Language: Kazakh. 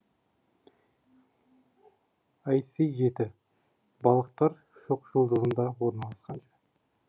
іс жеті балықтар шоқжұлдызында орналасқан